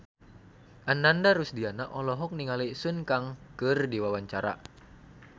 Ananda Rusdiana olohok ningali Sun Kang keur diwawancara